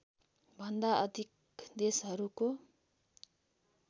भन्दा अधिक देशहरूको